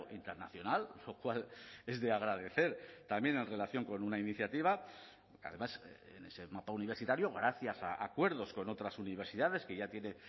internacional lo cual es de agradecer también en relación con una iniciativa además en ese mapa universitario gracias a acuerdos con otras universidades que ya tiene